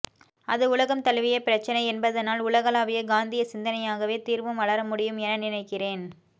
அது உலகம்தழுவிய பிரச்சினை என்பதனால் உலகளாவிய காந்தியசிந்தனையாகவே தீர்வும் வளரமுடியும் என நினைக்கிறேன்